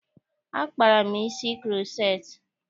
Akpara m isi kuroceti.